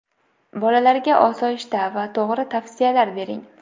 Bolalarga osoyishta va to‘g‘ri tavsiyalar bering.